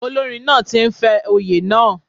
Olórin náà ti ń fẹ́ oyè náà.